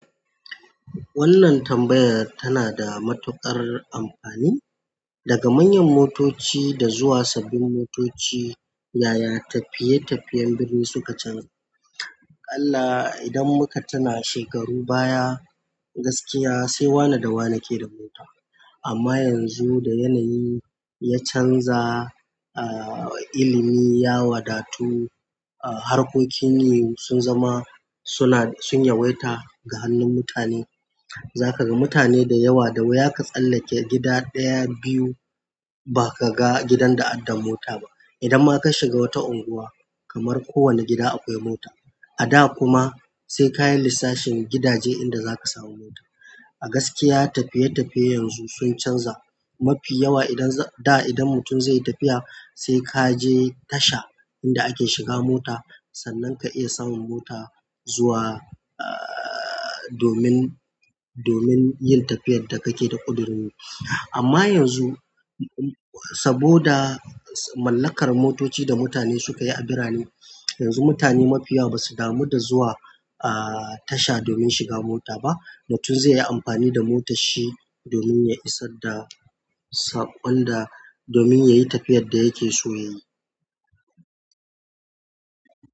Wannan tambayar tana da matuƙar amfani. Daga manyan motoci zuwa sabbin motoci, yaya tafiye-tafiyen birni suka canji? Allah, idan muka tina shekaru baya gaskiya sai wane da wane ke da mota. Amma yanzu da yanayi ya canza, ah, ilimi ya wadatu, ah, harkokin ne sun zama suna sun yawaita ga hannun mutane. Za ka ga mutane da yawa da wuya ka tsallake gida ɗaya biyu ba ka ga gidan da adda mota ba. Idan ma ka shiga wata unguwa kamar kowane gida akwai mota. A da kuma sai ka yi lissafin gidaje inda za ka samu mota. A gaskiya tafiye-tafiyen yanzu sun canja mafi yawa. Idan za, da idan mutum zai yi tafiya sai ka je tasha inda ake shiga mota sannan ka iya samun mota zuwa, ah, domin, domin yin tafiyar da kake da ƙudurin yi. Amma yanzu saboda mallakar motoci da mutane suka yi abira ne, yanzu mutane mafiyawa ba su damu da zuwa, ah, tasha domin shiga mota ba. Mutum zai yi amfani da motar shi domin ya isar da saƙon da, domin ya yi tafiyar da yake so ya yi.